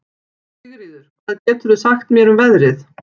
Sigríður, hvað geturðu sagt mér um veðrið?